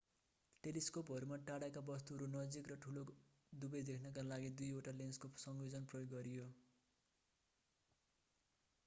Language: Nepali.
टेलिस्कोपहरूमा टाढाका वस्तुहरू नजिक र ठूलो दुबै देख्नका लागि दुईवटा लेन्सको संयोजन प्रयोग गरियो